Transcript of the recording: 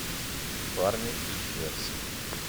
парни из джерси